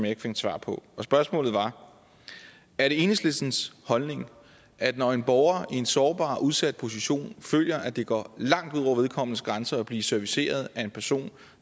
ikke fik svar på spørgsmålet var er det enhedslistens holdning at når en borger i en sårbar og udsat position føler at det går langt ud over vedkommendes grænser at blive serviceret af en person